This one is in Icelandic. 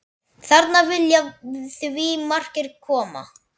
Þarna vilja því margir koma.